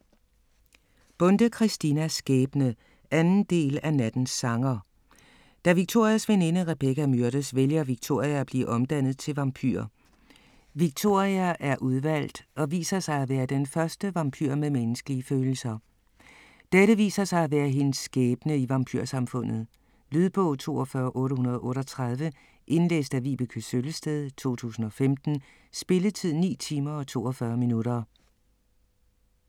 Bonde, Christina: Skæbne 2. del af Nattens sanger. Da Victorias veninde Rebecca myrdes, vælger Victoria at blive omdannet til vampyr. Victoria er udvalgt, og viser sig at være den første vampyr med menneskelige følelser. Dette viser sig at være hendes skæbne i vampyrsamfundet. Lydbog 42838 Indlæst af Vibeke Søllested, 2015. Spilletid: 9 timer, 42 minutter.